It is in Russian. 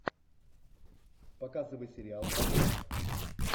показывай сериал вражда